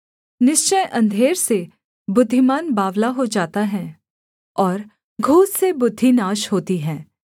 निश्चय अंधेर से बुद्धिमान बावला हो जाता है और घूस से बुद्धि नाश होती है